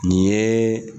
Nin ye